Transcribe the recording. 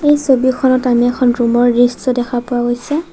এই ছবিখনত আমি এখন ৰুমৰ দৃশ্য দেখা পোৱা গৈছে।